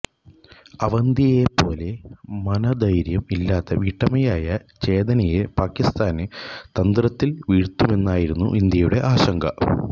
അവന്തിയെപ്പോലെ മനധൈര്യം ഇല്ലാത്ത വീട്ടമ്മയായ ചേതനയെ പാകിസ്ഥാന് തന്ത്രത്തില് വീഴ്ത്തുമെന്നായിരുന്നു ഇന്ത്യയുടെ ആശങ്ക